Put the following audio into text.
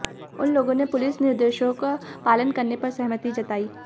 उन लोगों ने पुलिस निर्देशों का पालन करने पर सहमति जतायी